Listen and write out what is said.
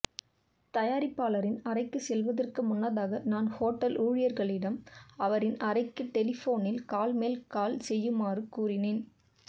தயாரிப்பாளரின் அறைக்கு செல்வதற்கு முன்னதாக நான் ஹோட்டல் ஊழியர்களிடம் அவரின் அறைக்கு டெலிபோனில் கால் மேல் கால் செய்யுமாறு கூறினேன்